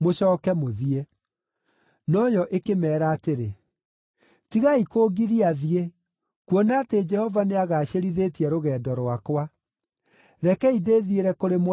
No yo ĩkĩmeera atĩrĩ, “Tigai kũngiria thiĩ, kuona atĩ Jehova nĩagacĩrithĩtie rũgendo rwakwa. Rekei ndĩthiĩre kũrĩ mwathi wakwa.”